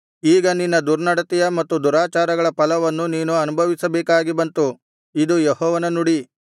ಈಗ ನಿನ್ನ ದುರ್ನಡತೆಯ ಮತ್ತು ದುರಾಚಾರಗಳ ಫಲವನ್ನು ನೀನು ಅನುಭವಿಸಬೇಕಾಗಿ ಬಂತು ಇದು ಯೆಹೋವನ ನುಡಿ